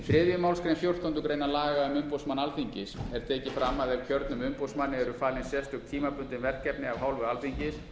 þriðju málsgrein fjórtándu grein laga um umboðsmann alþingis er tekið fram að ef kjörnum umboðsmanni eru falin sérstök tímabundin verkefni af hálfu alþingis